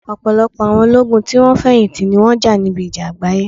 Ọ̀pọ̀lọpọ̀ àwọn ológun tí wón ti feyinti, ni wọn jà níbi ìjà àgbáyé